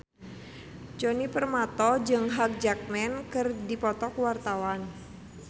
Djoni Permato jeung Hugh Jackman keur dipoto ku wartawan